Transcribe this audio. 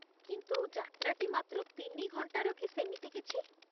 କିନ୍ତୁ, ଯାତ୍ରାଟି ମାତ୍ର ତିନି ଘଣ୍ଟାର କି ସେମିତି କିଛି ।